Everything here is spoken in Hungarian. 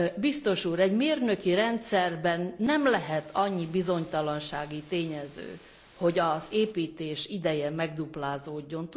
Biztos Úr, egy mérnöki rendszerben nem lehet annyi bizonytalansági tényező, hogy az építés ideje megduplázódjon.